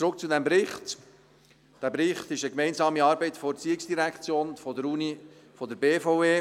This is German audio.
Zurück zum Bericht: Dieser Bericht ist eine gemeinsame Arbeit der ERZ, der Universität und der BVE.